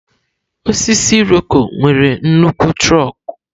Osisi Iroko nwere nnukwu trọkú.